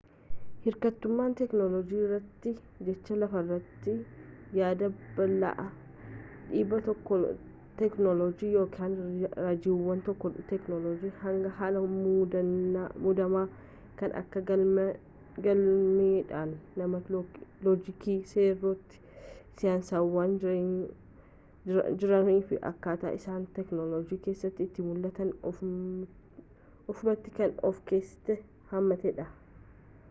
hirkattummaan teknoloojiirratti jecha lafarratti yaada bal'aa dhiibbaa teknoloojiitii ykn raajiiwwan teknoloojiitii hanga haala muddamaa kan kan galmi dhala namaa loojikii seerota saayinsawaa jiranii fi akkaataa isaan teknoloojii keessatti itti mullataniin oofamuutti kan of keessatti hammatedha